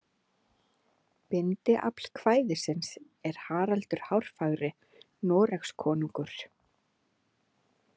Bindiafl kvæðisins er Haraldur hárfagri Noregskonungur.